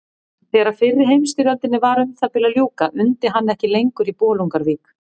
Þegar fyrri heimsstyrjöldinni var um það bil að ljúka undi hann ekki lengur í Bolungarvík.